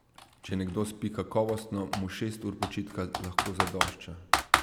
Če nekdo spi kakovostno, mu šest ur počitka lahko zadošča.